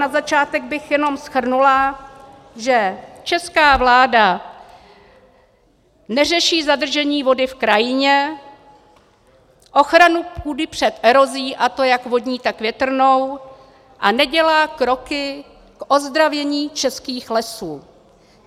Na začátek bych jenom shrnula, že česká vláda neřeší zadržení vody v krajině, ochranu půdy před erozí, a to jak vodní, tak větrnou, a nedělá kroky k ozdravění českých lesů.